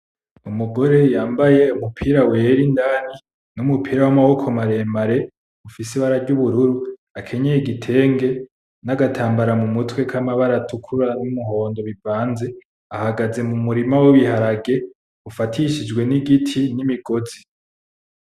Umugore yambaye umupira wera indani n'umupira w'amaboko maremare ufise ibara ry'ubururu, akenyeye igitenge n'agatambara mu mutwe k'amabara atukura n'umuhondo bivanze, ahagaze mu murima w'ibiharage ufatishijwe n'igiti n'imigozi.